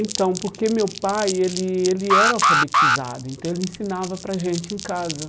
Então, porque meu pai, ele ele era alfabetizado, então ele ensinava para a gente em casa.